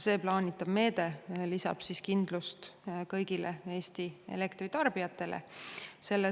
Plaanitav meede lisab kindlust kõigile Eesti elektritarbijatele.